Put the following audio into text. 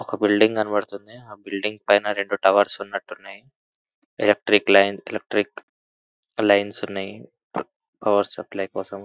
ఒక బిల్డింగ్ కనపడుతుంది. ఆ బిల్డింగ్ పైన రెండు టవర్స్ ఉన్నట్టున్నాయ్. ఎలక్ట్రిక్ లైన్ ఎలక్ట్రిక్ లైన్స్ ఉన్నాయ్. పవర్ సప్లై కోసం.